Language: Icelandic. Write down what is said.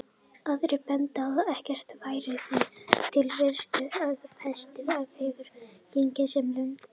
Aðrir bentu á að ekkert væri því til fyrirstöðu að pestin hefði gengið sem lungnapest.